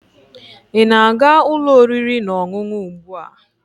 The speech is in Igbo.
ị na-aga ụlọ oriri na ọṅụṅụ ugbu a?